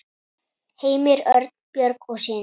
Heimir Örn, Björg og synir.